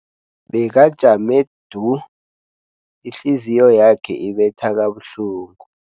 Bekajame du, ihliziyo yakhe ibetha kabuhlungu.